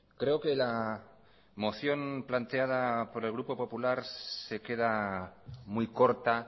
creo que la moción planteada por el grupo popular se queda muy corta